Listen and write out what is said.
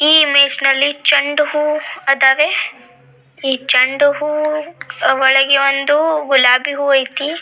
ಈ ನಲ್ಲಿ ಚೆಂಡು ಹೂವು ಅದವೆ ಈ ಚೆಂಡು ಹೂವು ಒಳಗೆ ಒಂದು ಗುಲಾಬಿ ಹೂವು ಐತಿ .